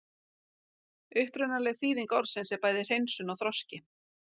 Upprunaleg þýðing orðsins er bæði hreinsun og þroski.